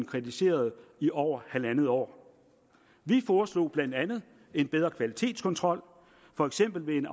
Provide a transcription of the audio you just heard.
kritiseret i over halvandet år vi foreslog blandt andet en bedre kvalitetskontrol for eksempel ved en